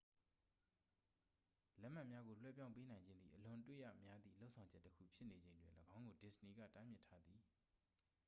လက်မှတ်များကို လွှဲပြောင်းပေးနိုင်ခြင်းသည် အလွန်အတွေ့ရများသည့် လုပ်ဆောင်ချက်တစ်ခုဖြစ်နေချိန်တွင် ၎င်းကို disney က တားမြစ်ထားသည်